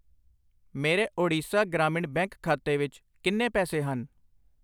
ਮੇਰੇ ਓਡੀਸ਼ਾ ਗ੍ਰਾਮਿਣ ਬੈਂਕ ਖਾਤੇ ਵਿੱਚ ਕਿੰਨੇ ਪੈਸੇ ਹਨ?